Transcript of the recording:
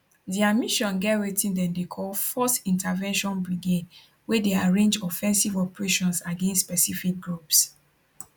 dia mission get wetin dem dey call force intervention brigade wey dey arrange offensive operations against specific groups